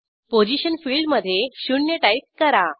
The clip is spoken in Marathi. पोझिशन फिल्डमधे 0 टाईप करा